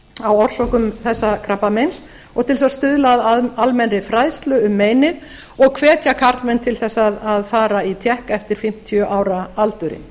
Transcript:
á orsökum þessa krabbameins og til þess að stuðla að almennri fræðslu um meinið og hvetja karlmenn til þess að fara í tékk eftir fimmtíu ára aldurinn